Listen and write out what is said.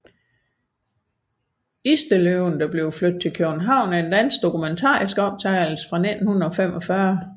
Istedløven flyttes til København er en dansk dokumentarisk optagelse fra 1945